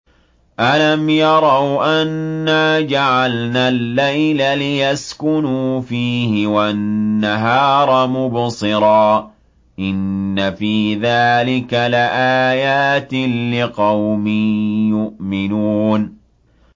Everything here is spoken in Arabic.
أَلَمْ يَرَوْا أَنَّا جَعَلْنَا اللَّيْلَ لِيَسْكُنُوا فِيهِ وَالنَّهَارَ مُبْصِرًا ۚ إِنَّ فِي ذَٰلِكَ لَآيَاتٍ لِّقَوْمٍ يُؤْمِنُونَ